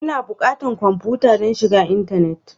Ina buƙatan kwamfuta don shiga intanet?